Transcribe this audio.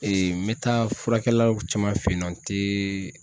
n bɛ taa furakɛlaw caman fɛ yen nɔ n tɛ.